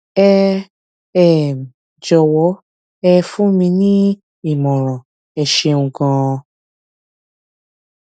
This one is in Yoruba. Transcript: ẹ um jọwọ ẹ fún mi ní ìmọràn ẹ ṣeun ganan